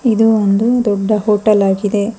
ಇದು ಒಂದು ದೊಡ್ಡ ಹೋಟೆಲ್ ಆಗಿದೆ.